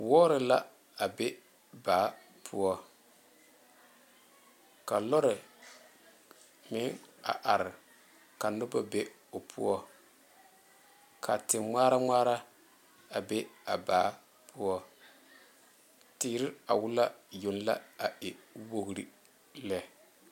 Wɔɔre la a be baa poɔ, ka lɔre a meŋ a are ka noba be o poɔ ka te ŋmaare ŋmaare a be a baa poɔ tere a wale yoŋ la a e wogre lɛ.